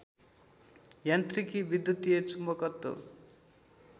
यान्त्रिकी विद्युतीय चुम्बकत्व